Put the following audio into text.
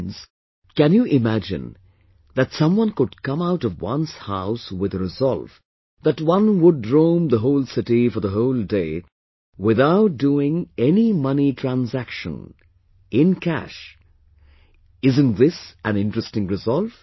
Friends, can you imagine that someone could come out of one's house with a resolve that one would roam the whole city for the whole day without doing any money transaction in cash isn't this an interesting resolve